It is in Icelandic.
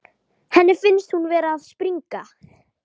Henni finnst hún vera að springa.